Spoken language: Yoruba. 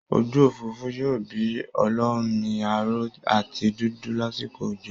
Ojú òfuurufú yọ bí olómi aró àti dúdú lásìkò òjò